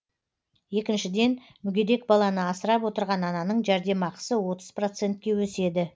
екіншіден мүгедек баланы асырап отырған ананың жәрдемақысы отыз процентке өседі